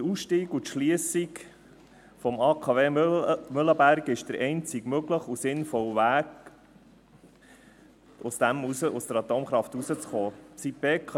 Der Ausstieg und die Schliessung des AKW Mühleberg ist der einzig mögliche und sinnvolle Weg, um aus der Atomkraft herauszukommen.